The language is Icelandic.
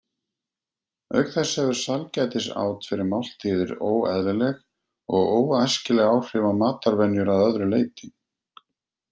Auk þess hefur sælgætisát fyrir máltíðir óeðlileg og óæskileg áhrif á matarvenjur að öðru leyti.